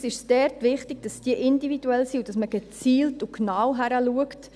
Dabei ist es uns wichtig, dass diese individuell sind und dass man gezielt und genau hinschaut.